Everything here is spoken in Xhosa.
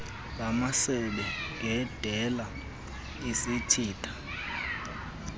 lamasebe ngendela ezichitha